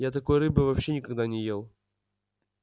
я такой рыбы вообще никогда не ел